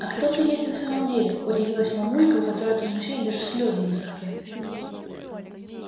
а кто ты есть на самом деле удивилась мамулька у которой от возмущения даже слезы высохли